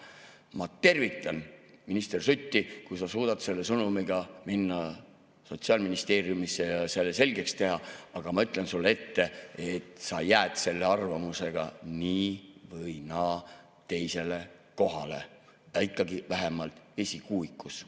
Ma tervitan minister Sutti, kui sa suudad selle sõnumiga minna Sotsiaalministeeriumisse ja selle selgeks teha, aga ma ütlen sulle ette, et sa jääd selle arvamusega nii või naa teisele kohale, aga oled ikkagi vähemalt esikuuikus.